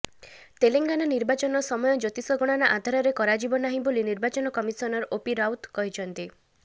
ତେଲେଙ୍ଗାନା ନିର୍ବାଚନ ସମୟ ଜ୍ୟୋତିଷ ଗଣନା ଆଧାରରେ କରାଯିବ ନାହିଁ ବୋଲି ନିର୍ବାଚନ କମିଶନର ଓପି ରାୱତ କହିଛନ୍ତି